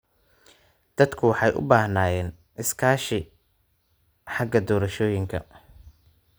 Dadku waxay u baahnaayeen iskaashi xagga doorashooyinka.